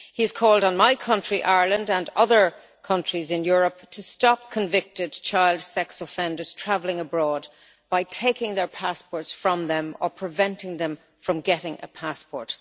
He has called on my country, Ireland, and other countries in Europe to stop convicted child sex offenders traveling abroad, by taking their passports from them or preventing them from getting a passport.